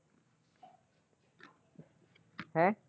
ਹੈਂ?